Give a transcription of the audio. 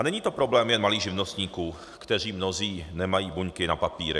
A není to problém jen malých živnostníků, kteří mnozí nemají buňky na papíry.